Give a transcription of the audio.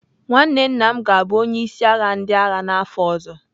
Nwanne nna m ga-abụ onye isi ndị agha n'afọ ọzọ.